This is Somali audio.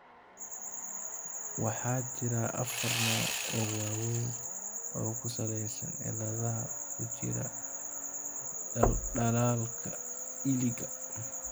Waxaa jira afar nooc oo waaweyn oo ku salaysan cilladaha ku jira dhaldhalaalka iliga.